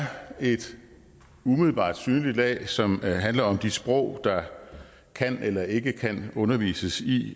et umiddelbart synligt lag som handler om de sprog der kan eller ikke kan undervises i